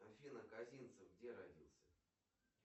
афина касинцев где родился